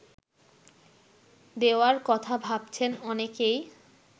দেওয়ার কথা ভাবছেন অনেকেই